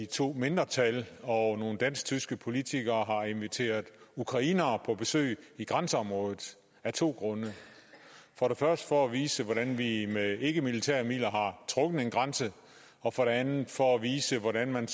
to mindretal og nogle dansk tyske politikere har inviteret ukrainere på besøg i grænseområdet af to grunde for det første for at vise hvordan vi med ikkemilitære midler har trukket en grænse og for det andet for at vise hvordan man